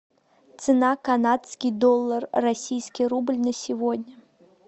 цена канадский доллар российский рубль на сегодня